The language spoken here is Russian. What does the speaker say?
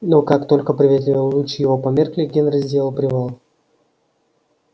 но как только приветливые лучи его померкли генри сделал привал